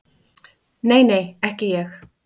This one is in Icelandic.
Nei, nei, ekki ég.